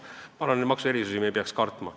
Ma arvan, et neid maksuerisusi me ei peaks kartma.